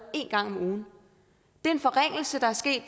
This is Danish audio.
en gang om ugen det er en forringelse der er sket